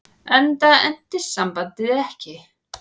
Enda entist sambandið ekki.